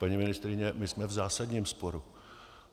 Paní ministryně, my jsme v zásadním sporu.